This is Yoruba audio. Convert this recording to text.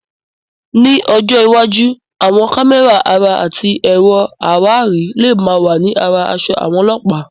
Ní ọjọ́ iwájú, àwọn kámẹ́rà ara àti ẹ̀rọ àwárí lè máa wà ní ara aṣọ àwọn Ọlọ́pàá.